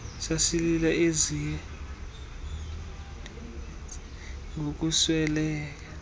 sasilila eziirnathontsi ngokusweleka